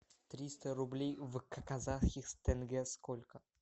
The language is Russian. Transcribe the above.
триста рублей в казахских тенге сколько